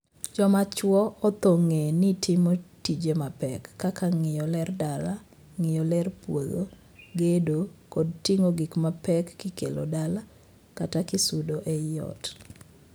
Joma chwo othor ng'ee ni timo tije mapek kaka ng'iyo ler dala, ngiyo ler puodho, gedo, kod ting'o gik mapek kikelo dala kata kisudo ei ot.